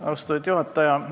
Austatud juhataja!